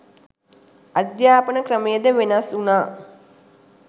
අධ්‍යාපන ක්‍රමය ද වෙනස් වුණා.